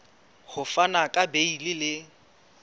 ho fana ka beile le